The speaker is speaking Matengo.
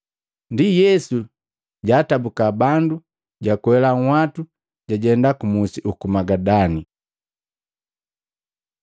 Ndi Yesu jaatabuka bandu, jwakwela nhwatu jajenda musi uku Magadani.